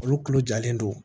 Olu kulo jalen do